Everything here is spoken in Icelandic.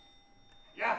ja